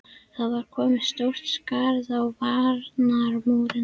Það var komið stórt skarð í varnarmúrinn!